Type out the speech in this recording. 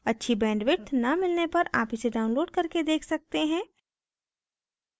अच्छी bandwidth न मिलने पर आप इसे download करके देख सकते हैं